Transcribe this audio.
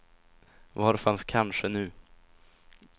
Var fanns kanske nu?